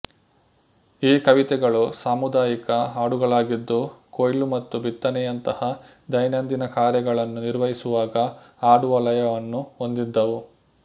ಈ ಕವಿತೆಗಳು ಸಾಮುದಾಯಿಕ ಹಾಡುಗಳಾಗಿದ್ದು ಕೊಯ್ಲು ಮತ್ತು ಬಿತ್ತನೆಯಂತಹ ದೈನಂದಿನ ಕಾರ್ಯಗಳನ್ನು ನಿರ್ವಹಿಸುವಾಗ ಹಾಡುವ ಲಯವನ್ನು ಹೊಂದಿದ್ದವು